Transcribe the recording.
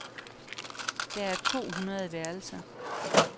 Der er to hundrede værelser.